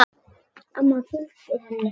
Amma fylgdi henni.